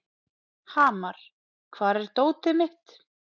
Hamar, hvar er dótið mitt?